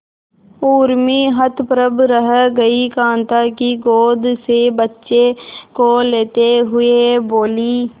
उर्मी हतप्रभ रह गई कांता की गोद से बच्चे को लेते हुए बोली